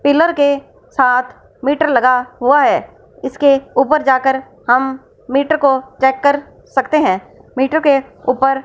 pillar के साथ meter लगा हुआ है इसके ऊपर जाके हम मीटर को चेक कर सकते है मीटर के ऊपर --